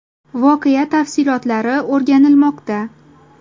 Voqea tafsilotlari o‘rganilmoqda.